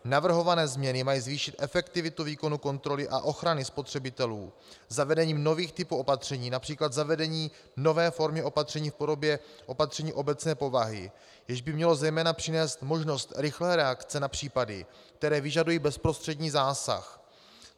Navrhované změny mají zvýšit efektivitu výkonu kontroly a ochrany spotřebitelů zavedením nových typů opatření, například zavedením nové formy opatření v podobě opatření obecné povahy, jež by mělo zejména přinést možnost rychlé reakce na případy, které vyžadují bezprostřední zásah.